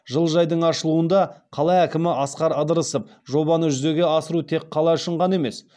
жылыжайдың ашылуында қала әкімі асқар ыдырысов жобаны жүзеге асыру тек қала үшін ғана емес